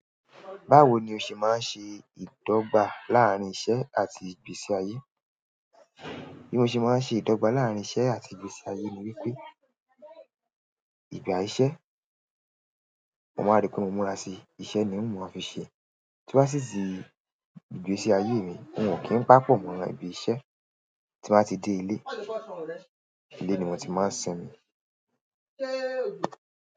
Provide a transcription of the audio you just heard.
Báwo ni o ṣe máa ń ṣe ìdọ́gba láàárín iṣẹ́ àti ìgbésí ayé? Bí mo ṣe máa ń ṣe ìdọ́gba láàárín iṣẹ́ àti ìgbésí-ayé ni wípé ìgbà iṣẹ́, mo máa ń ríi pé mo múra síi. Iṣẹ́ ni n ó máa fi ṣe. Tí mo bá sì tì ìgbésí ayé mi, òun ò kí ń paá pọ̀ mọ́ ibi iṣẹ́. Tí mo bá ti dé ilé, ilé ni mo ti máa ń sinmi.